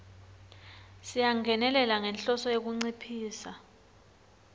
siyangenelela ngenhloso yekunciphisa